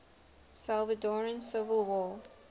salvadoran civil war